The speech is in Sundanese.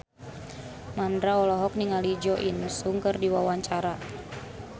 Mandra olohok ningali Jo In Sung keur diwawancara